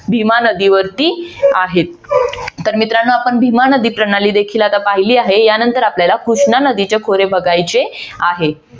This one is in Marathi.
भीमा नदीवरती आहेत तर मित्रांनो आपण भीमा नदी प्रणाली देखील आता पहिली आहे. यानंतर आपल्याला कृष्णा नदीचे खोरे बघायचे आहे.